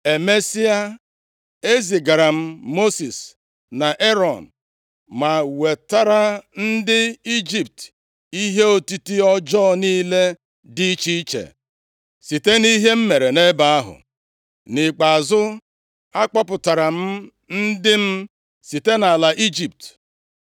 “ ‘Emesịa, ezigara m Mosis na Erọn, ma wetara ndị Ijipt ihe otiti ọjọọ niile dị iche iche site nʼihe m mere nʼebe ahụ. Nʼikpeazụ, akpọpụtara m ndị m site nʼala Ijipt.